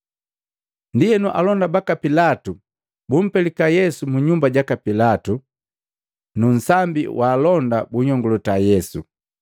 Ndienu alonda baka Pilatu bumpelika Yesu mu nyumba jaka Pilatu, nu nsambi wa alonda bunnyongulota Yesu.